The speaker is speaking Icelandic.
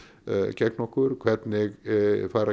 gegn okkur hvernig fara